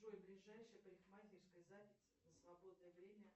джой ближайшая парикмахерская запись на свободное время